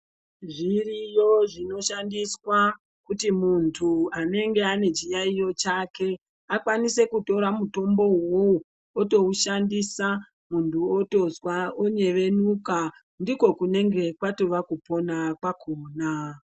Zviriyo zvinoshandiswa kuti muntu anenge anechiyayiyo chake, akwanise kutora mutombo uwo otowushandisa muntu otonzva onyevenuka ndiko kunenge kwatova kupona kwakhona.